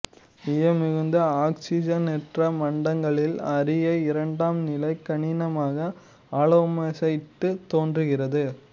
ஈயம் மிகுந்த ஆக்சிசனேற்ற மண்டலங்களில் அரிய இரண்டாம்நிலை கனிமமாக அலாமோசைட்டு தோன்றுகிறது